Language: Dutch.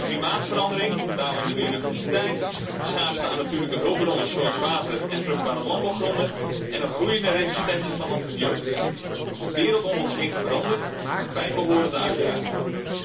Klimaatverandering, dalende biodiversiteit, schaarste aan natuurlijke hulpbronnen zoals water en vruchtbare landbouwgronden en een groeiende resistentie van antibiotica de wereld om ons heen verandert, met bijbehorende uitdagingen.